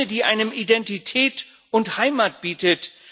Eine, die einem Identität und Heimat bietet.